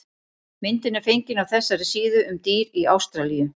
Myndin er fengin á þessari síðu um dýr í Ástralíu.